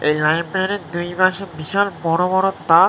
এই লাইব্রেরি -র দুইপাশে বিশাল বড়ো বড়ো তাক--